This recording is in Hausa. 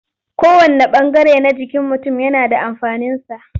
Kowanne ɓangare na jikin mutum yana da amfaninsa.